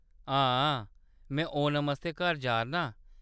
हां, हां, में ओणम आस्तै घर जा’रनां।